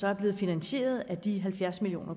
er blevet finansieret af de halvfjerds million